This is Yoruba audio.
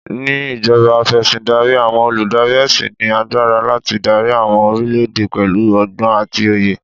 Ni ìjọba Afẹ̀sìndarí, àwọn olùdarí ẹṣin ní agbára láti dári àwọn orílè èdè pẹ̀lú ọgbọ́n àti òye.